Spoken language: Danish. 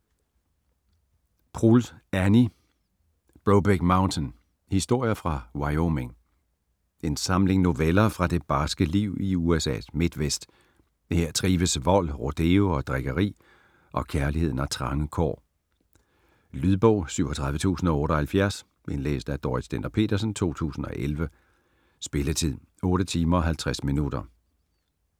Proulx, Annie: Brokeback Mountain: historier fra Wyoming En samling noveller fra det barske liv i USA's midtvest. Her trives vold, rodeo og drikkeri, og kærligheden har trange kår. Lydbog 37078 Indlæst af Dorrit Stender-Petersen, 2011. Spilletid: 8 timer, 50 minutter.